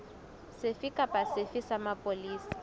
sefe kapa sefe sa mapolesa